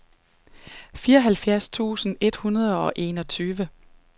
fireoghalvfjerds tusind et hundrede og enogtyve